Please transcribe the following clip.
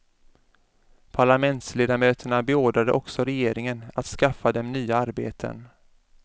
Parlamentsledamöterna beordrade också regeringen att skaffa dem nya arbeten.